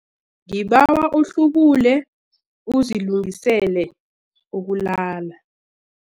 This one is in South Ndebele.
Ngibawa uhlubule uzilungiselele ukulala.